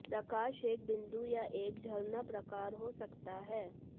प्रकाश एक बिंदु या एक झरना प्रकार हो सकता है